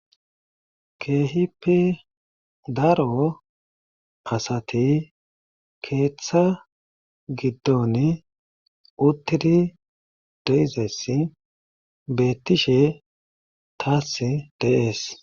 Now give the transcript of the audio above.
Keehippe daro asati keeththa gidoni uttidi de'izayssi beetishe taasi de'ees.